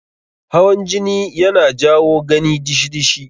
Hawan jini yana jawo gani dishi-dishi.